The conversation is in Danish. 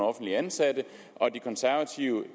offentligt ansatte og de konservative